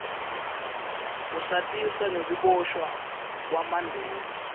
usatisa ngekuboshwa kwamandela